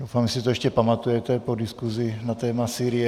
Doufám, že si to ještě pamatujete po diskusi na téma Sýrie.